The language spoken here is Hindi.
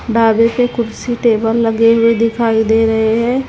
ढाबे पे कुर्सी टेबल लगे हुए दिखाई दे रहें हैं।